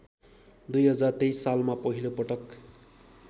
२०२३ सालमा पहिलोपटक